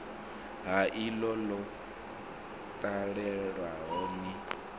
ha iḽo ḽo talelwaho ni